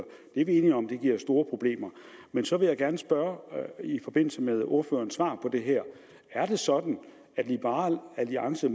vi er enige om at det giver store problemer men så vil jeg gerne spørge i forbindelse med ordførerens svar på det her er det sådan at liberal alliance